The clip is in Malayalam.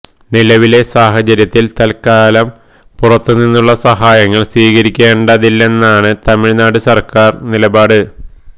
നിലവിലെ സാഹചര്യത്തിൽ തൽക്കാലം പുറത്തു നിന്നുള്ള സഹായങ്ങൾ സ്വീകരിക്കേണ്ടതില്ലെന്നാണ് തമിഴ്നാട് സർക്കാർ നിലപാട്